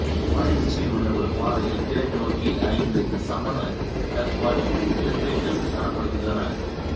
மலை உச்சியில் உள்ள ஒரு பாறையில் கிழக்கு நோக்கி ஐந்து சமண கற்படுக்கைகள் காணப்படுகின்றன